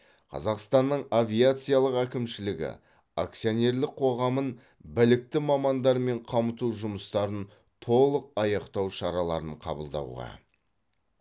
қазақстанның авиациялық әкімшілігі акционерлік қоғамын білікті мамандармен қамту жұмыстарын толық аяқтау шараларын қабылдауға